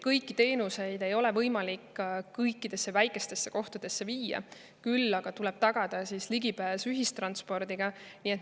Kõiki teenuseid ei ole võimalik kõikidesse väikestesse kohtadesse viia, küll aga tuleb tagada ligipääs ühistranspordiga.